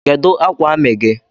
Kedu akwa ami gi?